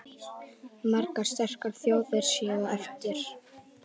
Margar sterkar þjóðir séu eftir.